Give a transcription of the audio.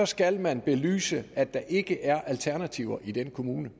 skal man belyse at der ikke er alternativer i den kommune